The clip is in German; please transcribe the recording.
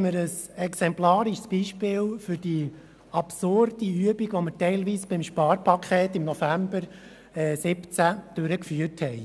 ein exemplarisches Beispiel für eine absurde Übung, wie wir sie teilweise beim Sparpaket im November 2017 durchführten.